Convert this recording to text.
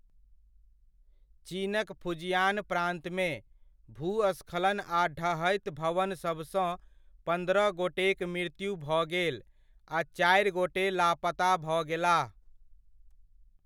चीनक फुजियान प्रान्तमे, भूस्खलन आ ढहैत भवनसभसँ पन्द्रह गोटेक मृत्यु भऽ गेल आ चारि गोटे लापता भऽ गेलाह।